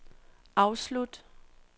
afslut